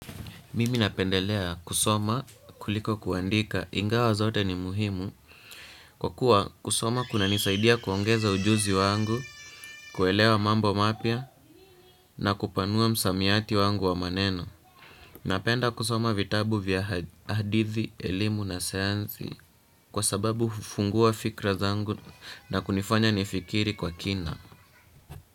Mimi napendelea kusoma kuliko kuandika ingawa zote ni muhimu, kwa kuwa kusoma kunanisaidia kuongeza ujuzi wangu, kuelewa mambo mapya na kupanua msamiati wangu wa maneno. Napenda kusoma vitabu vya hadithi, elimu na sayansi kwa sababu hufungua fikira zangu na kunifanya nifikiri kwa kina.